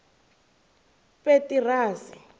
petirasi